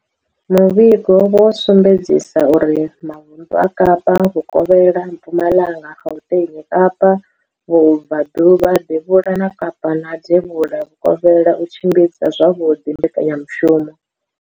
Muvhigo wo sumbedzisa uri mavundu a Kapa Vhukovhela, Mpumalanga, Gauteng, Kapa Vhubva ḓuvha, Devhula ha Kapa na Devhula Vhukovhela o tshimbidza zwavhuḓi mbekanya mushumo.